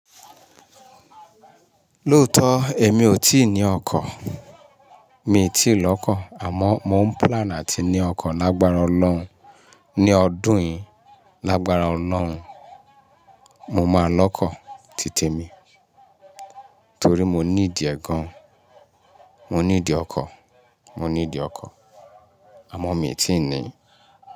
Lóòótọ́ èmi ò tíì ní ọkọ̀, mi ò tíì lọ́kọ̀ àmọ́ mo ń plan láti ní ọkọ̀ lágbára ọlọ́run ní ọdún yìí, lágbára Ọlọ́run. Mo máa lọ́kọ̀ títe mi torí mo ní ìdí ẹ gan. Mo ní ìdí ọkọ̀, mo ní ìdí ọkọ̀ àmọ́ mi ò tíì ní i.